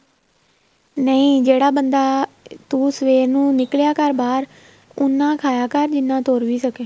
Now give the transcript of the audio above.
ਨਹੀਂ ਜਿਹੜਾ ਬੰਦਾ ਤੂੰ ਸਵੇਰ ਨੂੰ ਨਿੱਕਲਿਆ ਕਰ ਬਾਹਰ ਉੰਨਾ ਖਾਇਆ ਕਰ ਜਿੰਨਾ ਤੁਰ ਵੀ ਸਕੇਂ